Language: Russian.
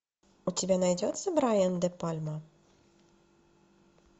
у тебя найдется брайан де пальма